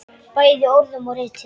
Bæði í orðum og riti.